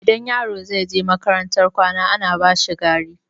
Idan yaro zai je makarantar kwana, ana bashi gari.